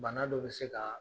Bana dɔ bɛ se ka